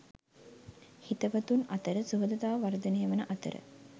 හිතවතුන් අතර සුහදතාව වර්ධනය වන අතර